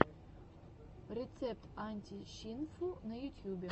рецепт айтищинфу на ютьюбе